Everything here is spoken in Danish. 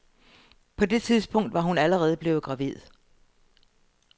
På det tidspunkt var hun allerede blevet gravid.